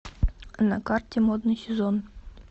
на карте модный сезон